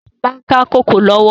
Sọlá ń ka kòkó lọ́wọ́